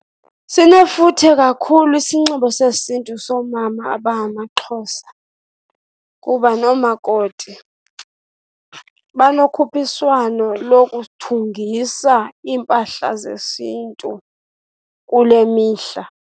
Sinefuthe kakhulu isinxibo sesiNtu soomama abangamaXhosa kuba noomakoti banokhuphiswano lokuthungisa iimpahla zesiNtu kule mihla.